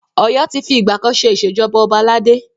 Ọ̀yọ́ ti fi ìgbà kan ṣe Ìṣèjọba ọba aládé.